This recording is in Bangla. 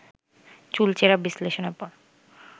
চুলচেরা বিশ্লেষণের পর